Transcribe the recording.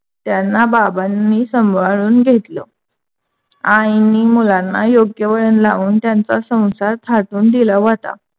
त्यांना बाबांनी सांभाळून घेतल. आईंनी मुलांना योग्य वळण लाऊन त्यांच्या संसार थाटून दिला होता.